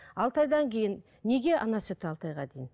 алты айдан кейін неге ана сүті алты айға дейін